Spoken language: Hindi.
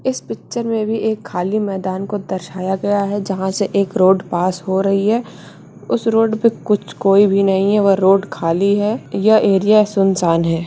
इस पिक्चर में भी एक खाली मैदान को दर्शाया गया है जहाँ से एक रोड पास हो रही है उस रोड पे कुछ कोई भी नहीं है वह रोड खाली है यह एरिया सुनसान है।